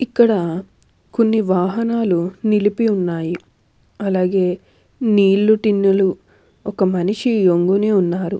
ఇక్కడ కొన్ని వాహనాలు నిలిపి ఉన్నాయి అలాగే నీళ్లు టిన్నులు ఒక మనిషి ఒంగొని ఉన్నారు.